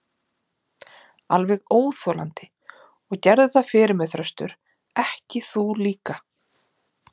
Alveg óþolandi, og gerðu það fyrir mig Þröstur, ekki þú líka.